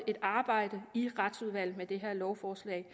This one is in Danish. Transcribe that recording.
et arbejde i retsudvalget med det her lovforslag